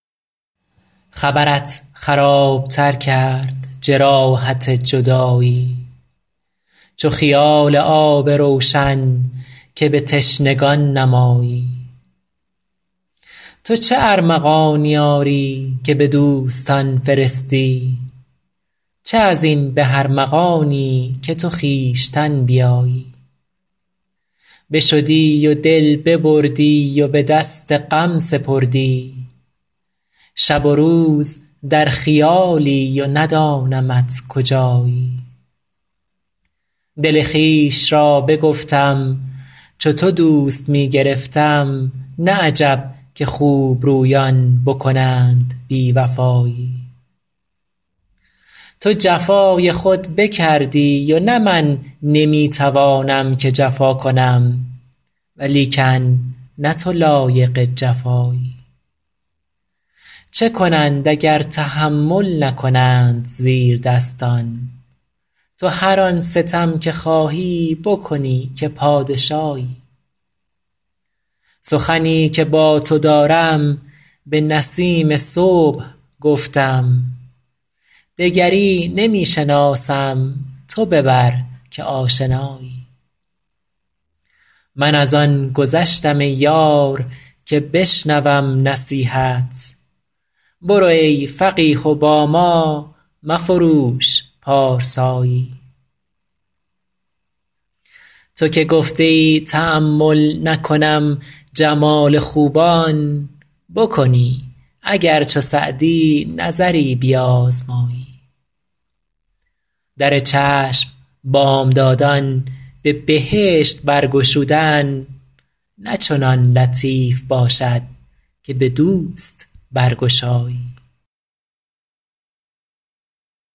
خبرت خراب تر کرد جراحت جدایی چو خیال آب روشن که به تشنگان نمایی تو چه ارمغانی آری که به دوستان فرستی چه از این به ارمغانی که تو خویشتن بیایی بشدی و دل ببردی و به دست غم سپردی شب و روز در خیالی و ندانمت کجایی دل خویش را بگفتم چو تو دوست می گرفتم نه عجب که خوبرویان بکنند بی وفایی تو جفای خود بکردی و نه من نمی توانم که جفا کنم ولیکن نه تو لایق جفایی چه کنند اگر تحمل نکنند زیردستان تو هر آن ستم که خواهی بکنی که پادشایی سخنی که با تو دارم به نسیم صبح گفتم دگری نمی شناسم تو ببر که آشنایی من از آن گذشتم ای یار که بشنوم نصیحت برو ای فقیه و با ما مفروش پارسایی تو که گفته ای تأمل نکنم جمال خوبان بکنی اگر چو سعدی نظری بیازمایی در چشم بامدادان به بهشت برگشودن نه چنان لطیف باشد که به دوست برگشایی